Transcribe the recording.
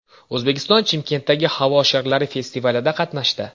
O‘zbekiston Chimkentdagi havo sharlari festivalida qatnashdi.